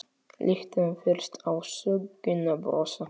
Lítum fyrst á sögnina brosa